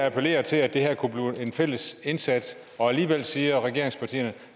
appellerer til at det her kunne blive en fælles indsats og alligevel siger regeringspartierne